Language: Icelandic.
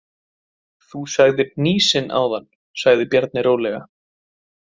Þú sagðir hnýsin áðan, sagði Bjarni rólega.